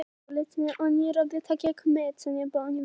Eggert, spilaðu lag.